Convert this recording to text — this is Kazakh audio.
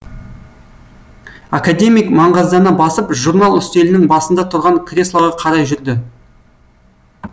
академик маңғаздана басып журнал үстелінің басында тұрған креслоға қарай жүрді